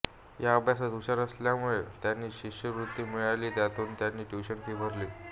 त्या अभ्यासात हुशार असल्यामुळे त्यांना शिष्यवृत्ती मिळाली त्यातून त्यांनी ट्युशन फी भरली